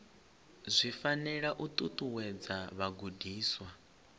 zwi fanela u ṱuṱuwedza vhagudiswa